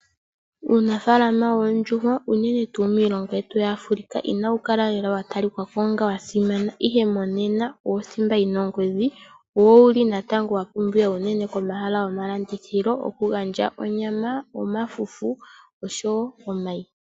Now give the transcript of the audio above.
Uunafaalama woondjuhwa unene miilongo yetu yAfrika kawa li watalikako lela onga wa simana , ihe monena owo thimba yina ongodhi wo owuli natango wapumbiwa unene komahala gomalandithilo okugandja onyama, omafufu oshowoo omayi.